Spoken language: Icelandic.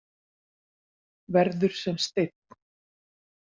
Verður sem steinn.